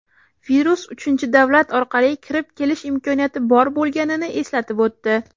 virus uchinchi davlat orqali kirib kelish imkoniyati bor bo‘lganini eslatib o‘tdi.